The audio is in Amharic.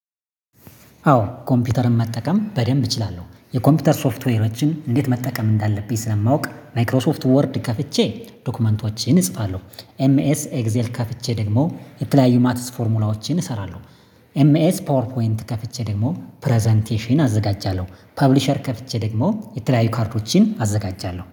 አዎ፤ ኮምፒውተርን መጠቀም በደንብ እችላለሁ። የኮምፒውተር ሶፍትዌሮችን እንዴት መጠቀም እንዳለብኝ ስለማውቅ፤ ማይክሮሶፍት ወርድ ከፍቼ፣ ዶክመንቶችን እጽፋለሁ። ኤምኤስ ኤግዜል ከፍቼ ደግሞ፣ የተለያዩ ማትስ ፎርሙላዎችን እሰራለሁ። ኤምኤስ ፓወር ፖይንት ከፍቼ ደግሞ፣ ፕረዘንቴሽን አዘጋጃለሁ። ፐብሊሸር ከፍቼ ደግሞ፣ የተለያዩ ካርዶችን አዘጋጃለሁ።